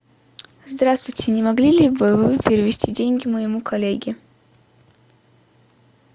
здравствуйте не могли ли бы вы перевести деньги моему коллеге